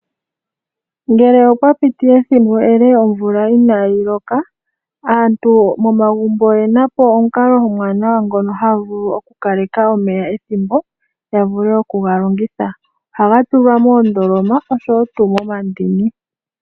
Ngele opwa piti ethimbo ele omvula inaayi loka, aantu momagumbo oyena po omukalo omuwanawa ngono haya vulu okukaleka omeya ethimbo ya vule okugalongitha. Ohaga tulwa moondoloma oshowo tuu momandini.